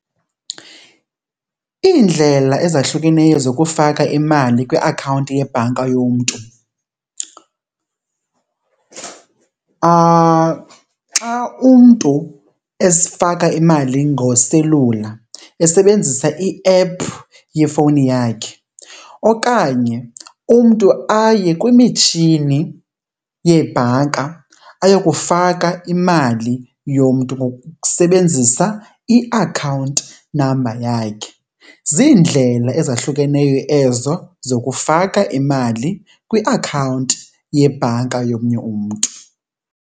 Iindlela ezahlukeneyo zokufaka imali kwiakhawunti yebhanki yomntu, xa umntu esifaka imali ngoselula esebenzisa i-app yefowuni yakhe, okanye umntu aye kwimitshini yebhanka ayokufaka imali yomntu ngokusebenzisa iakhawunti number yakhe. Ziindlela ezahlukeneyo ezo zokufaka imali kwiakhawunti yebhanka yomnye umntu.